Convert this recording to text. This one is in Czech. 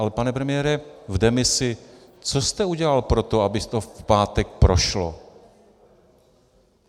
Ale pane premiére v demisi, co jste udělal pro to, aby to v pátek prošlo?